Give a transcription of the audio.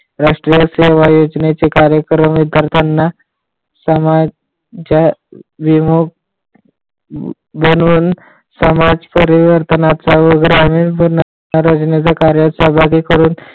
राष्ट्रीय सेवा योजनेचे कार्यक्रम ही करताना म्हणून समाज परिवर्तनाचा व ग्रामी